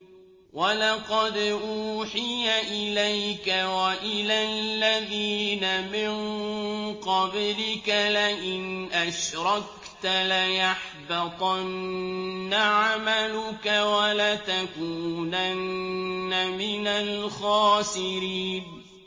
وَلَقَدْ أُوحِيَ إِلَيْكَ وَإِلَى الَّذِينَ مِن قَبْلِكَ لَئِنْ أَشْرَكْتَ لَيَحْبَطَنَّ عَمَلُكَ وَلَتَكُونَنَّ مِنَ الْخَاسِرِينَ